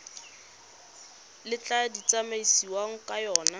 le tla tsamaisiwang ka yona